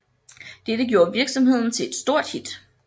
Dette gjorde virksomheden til et stort hit